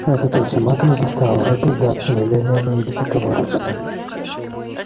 этот ультиматум заставил робби сдаться немедленно и безоговорочно